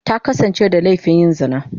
Ta kasance da laifin yin zina.